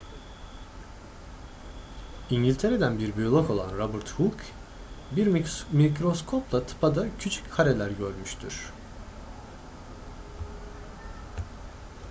i̇ngiltere'den bir biyolog olan robert hooke bir mikroskopla tıpada küçük kareler görmüştür